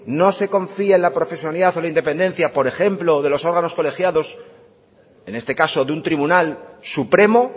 no se confía en la profesionalidad o en la independencia por ejemplo de los órganos colegiados en este caso de un tribunal supremo